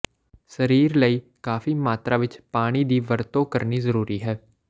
ਸਰੀਰ ਲਈ ਕਾਫ਼ੀ ਮਾਤਰਾ ਵਿੱਚ ਪਾਣੀ ਦੀ ਵਰਤੋਂ ਕਰਨੀ ਜ਼ਰੂਰੀ ਹੈ